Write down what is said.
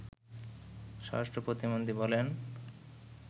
স্বরাষ্টপ্রতিমন্ত্রী বলেন